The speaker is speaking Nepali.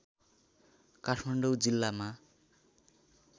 काठमाडौँ जिल्लामा